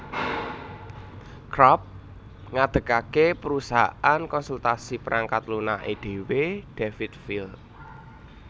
Karp ngadegake perusahaan konsultasi perangkat lunake dhewe Davidville